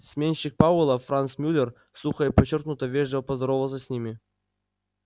сменщик пауэлла франц мюллер сухо и подчёркнуто вежливо поздоровался с ними